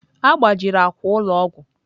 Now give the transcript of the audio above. A gbajiri akwa ụlọ ọgwụ.